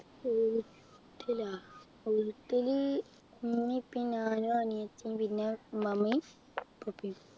വീട്ടിലാ വീട്ടില് ഉമ്മയും ഉപ്പയും ഞാനും അനിയത്തിയും പിന്നെ ഉമ്മാമ്മയും ഉപ്പാപ്പയും